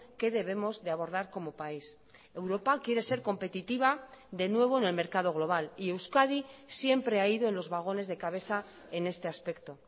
que debemos de abordar como país europa quiere ser competitiva de nuevo en el mercado global y euskadi siempre ha ido en los vagones de cabeza en este aspecto